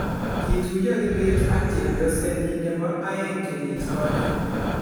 Kituyo Kibet ak chepyosennyi nebo aeng' kenyit konye